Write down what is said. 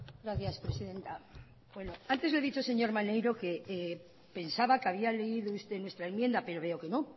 gracias presidenta antes lo he dicho señor maneiro que pensaba que había leído usted nuestra enmienda pero veo que no